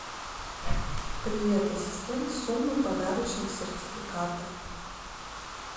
привет ассистент суммы подарочных сертификатов